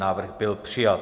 Návrh byl přijat.